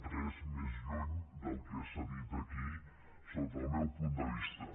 res més lluny del que s’ha dit aquí sota el meu punt de vista